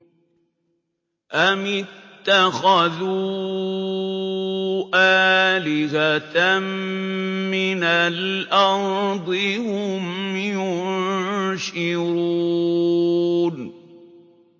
أَمِ اتَّخَذُوا آلِهَةً مِّنَ الْأَرْضِ هُمْ يُنشِرُونَ